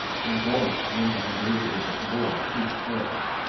Spontant nämnde han ledigheten för vård av sjukt barn.